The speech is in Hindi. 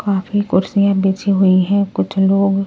काफी कुर्सियां बिछी हुई हैं कुछ लोग--